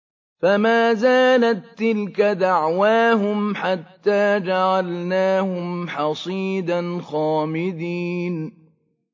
فَمَا زَالَت تِّلْكَ دَعْوَاهُمْ حَتَّىٰ جَعَلْنَاهُمْ حَصِيدًا خَامِدِينَ